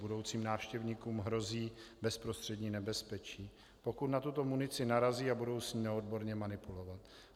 Budoucím návštěvníkům hrozí bezprostřední nebezpečí, pokud na tuto munici narazí a budou s ní neodborně manipulovat.